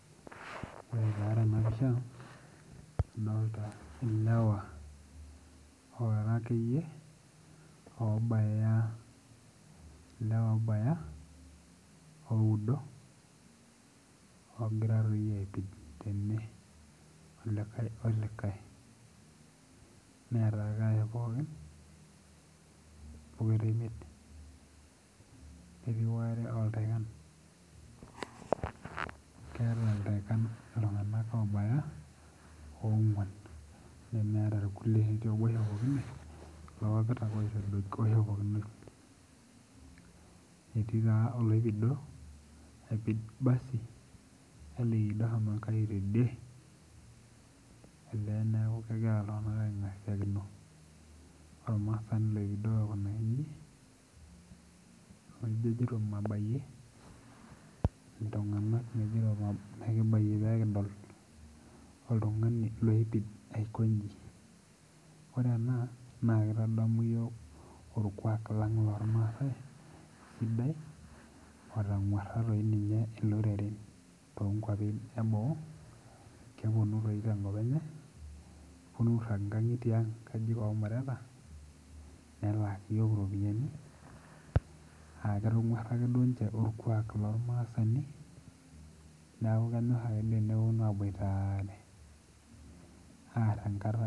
Ore taa tena pisha adolta ilewa ora akeyie oobaya ilewa obaya oudo ogira toi aipid tene olikae olikae neeta irkarash pookin pokira imiet ketii waare loltaikan keeta iltaikan iltung'anak obaya ong'uan nemeeta irkulie etii obo oishopokine kulo papit ake oishopokinoi etii taa oloipido apid basi nelido ohomo enkai tidie elee neeku kegira iltung'anak aing'asiakino ormaasani loipido aikunaki inji nijo ejitop mabayie iltung'anak ejito mabayie mekibayie pekidol oltung'ani loipid aikonji ore ena naa kitadamu iyiok orkuak lang lormaasae sidai otang'urra toi ninye iloreren tonkuapi eboo keponu toi tenkop enye neponu airrag inkang'itie ang inkajijik omureta nelaaki iyiok iropiyiani aketong'uara akeduo inche orkuak lormaasani niaku kenyorr akeduo eneponu aboitare arr enkata.